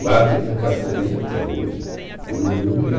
Guardo minha carteirinha até hoje e o meu número é